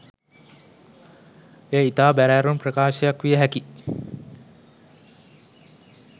එය ඉතා බැරෑරුම් ප්‍රකාශයක් විය හැකි